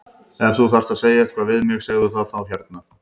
Ef þú þarft að segja eitthvað við mig segðu það þá hérna!